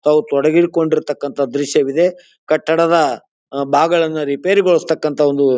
ಅವರು ತೊಡಗಿರುತಕಂತ ದೃಶ್ಯವಿದೆ ಕಟ್ಟಡ ಭಾಗಗಳನ್ನ ರಿಪೇರಿಗೊಳಿಸ್ತಾಕಂತ ಒಂದು.